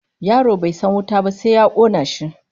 Yaro bai san wuta ba sai ta kona shi